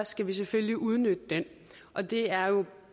skal vi selvfølgelig udnytte den og det er jo